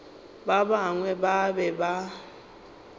ba bangwe ba be ba